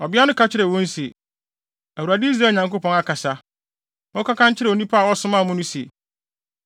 Ɔbea no ka kyerɛɛ wɔn se, “ Awurade, Israel Nyankopɔn, akasa! Monkɔka nkyerɛ onipa a ɔsomaa mo no se,